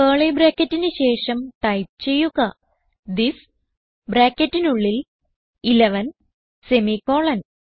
curly ബ്രാക്കറ്റിന് ശേഷം type ചെയ്യുക തിസ് ബ്രാക്കറ്റിനുള്ളിൽ 11 സെമിക്കോളൻ